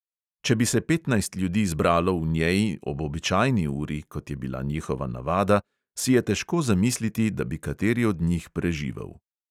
Če bi se petnajst ljudi zbralo v njej ob običajni uri, kot je bila njihova navada, si je težko zamisliti, da bi kateri od njih preživel.